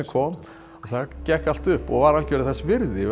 senuna það gekk allt upp og var algjörlega þess virði